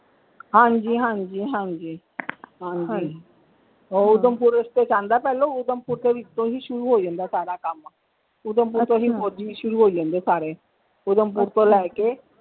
ਹਾਂਜੀ ਹਾਂਜੀ ਹਾਂਜੀ ਹਾਂਜੀ ਉਹ ਊਧਮਪੁਰ ਤੋਂ ਵੀ ਉੱਤੋਂ ਹੀ ਸ਼ੁਰੂ ਹੋ ਜਾਂਦਾ ਹੈ ਸਾਰਾ ਕੰਮ ਊਧਮਪੁਰ ਤੋਂ ਹੀ ਫੋਜੀ ਸ਼ੁਰੂ ਹੋ ਜਾਂਦੇ ਸਾਰੇ ਊਧਮਪੁਰ ਤੋਂ ਲੈ ਕੇ,